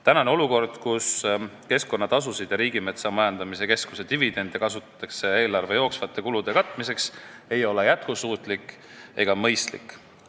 Tänane olukord, kus keskkonnatasusid ja RMK dividende kasutatakse eelarve jooksvate kulude katmiseks, ei ole jätkusuutlik ega mõistlik.